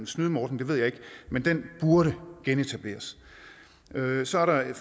snydt med ordningen ved jeg ikke men den burde genetableres så er der det